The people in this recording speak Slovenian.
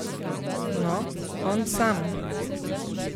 No, on sam!